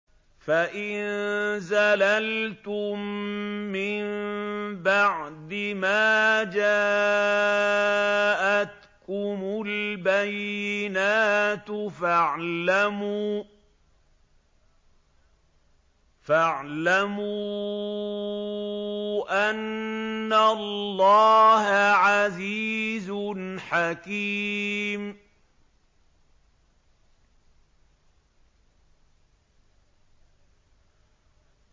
فَإِن زَلَلْتُم مِّن بَعْدِ مَا جَاءَتْكُمُ الْبَيِّنَاتُ فَاعْلَمُوا أَنَّ اللَّهَ عَزِيزٌ حَكِيمٌ